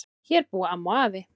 Hér búa amma og afi.